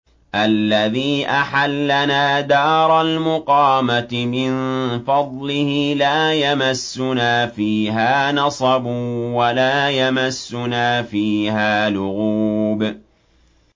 الَّذِي أَحَلَّنَا دَارَ الْمُقَامَةِ مِن فَضْلِهِ لَا يَمَسُّنَا فِيهَا نَصَبٌ وَلَا يَمَسُّنَا فِيهَا لُغُوبٌ